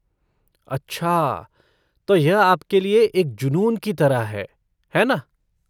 अच्छा, तो यह आपके लिए एक जुनून की तरह है, है ना?